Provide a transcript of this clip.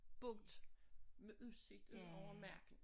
Boet med udsigt udover marken